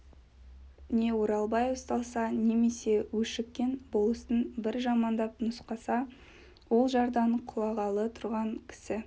не оралбай ұсталса немесе өшіккен болыстың бір жамандап нұсқаса ол жардан құлағалы тұрған кісі